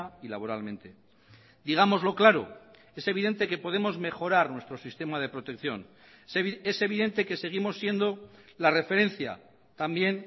y laboralmente digámoslo claro es evidente que podemos mejorar nuestro sistema de protección es evidente que seguimos siendo la referencia también